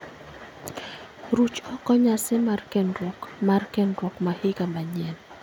Ruch oko nyasi mar kendruok mar kendruok ma higa manyien